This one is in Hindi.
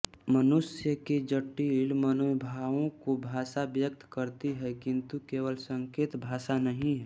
मनुष्य के जटिल मनोभावों को भाषा व्यक्त करती है किन्तु केवल संकेत भाषा नहीं है